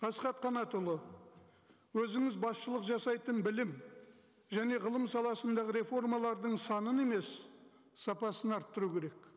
асхат қанатұлы өзіңіз басшылық жасайтын білім және ғылым саласындағы реформалардың санын емес сапасын арттыру керек